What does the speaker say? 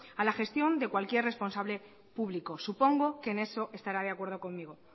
a la gestión de cualquier responsable público supongo que en eso estará de acuerdo conmigo